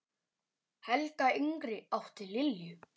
Helga yngri átti Lilju.